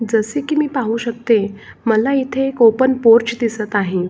जसे की पाहू शकते मला इथे एक ओपन पोर्च दिसत आहे.